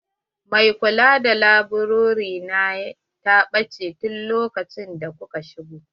Mai kula da laburare na ta bacci tun lokacin da muka shigo.